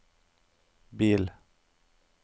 bil